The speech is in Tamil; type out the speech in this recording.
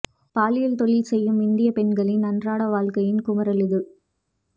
பாலியல் தொழில் செய்யும் இந்திய பெண்களின் அன்றாட வாழ்க்கையின் குமுறல் இது